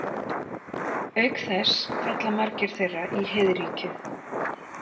Auk þess falla margir þeirra í heiðríkju.